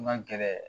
N ka gɛlɛn